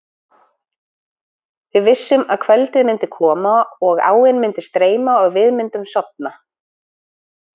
Við vissum að kvöldið myndi koma og áin myndi streyma og við myndum sofa.